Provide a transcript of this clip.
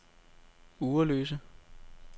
Ugerløse